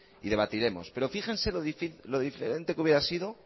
y debatiremos pero fíjense lo diferente que hubiera sido